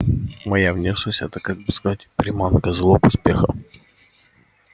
моя внешность это как бы сказать приманка залог успеха